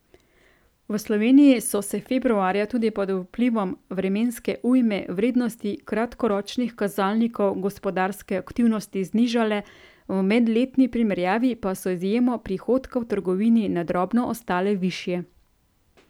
V Sloveniji so se februarja tudi pod vplivom vremenske ujme vrednosti kratkoročnih kazalnikov gospodarske aktivnosti znižale, v medletni primerjavi pa so z izjemo prihodka v trgovini na drobno ostale višje.